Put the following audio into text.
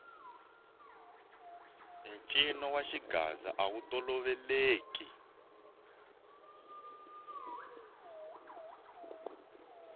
ncino wa xigaza awu toloveleki